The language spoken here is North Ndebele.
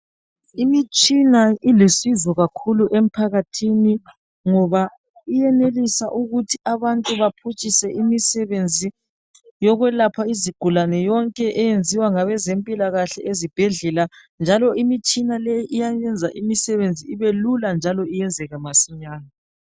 Imitshina ilusizo kakhulu emphakathini ngoba iyenelisa ukuthi abantu baphutshise imisebenzi yokwelapha izigulane yonke eyenziwa ngabezempilakahle ezibhedlela njalo imitshina le iyayenza imisebenzi ibelula njalo iyenzeke masinyane.